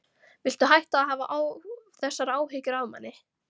Viltu hætta að hafa þessar áhyggjur af manni!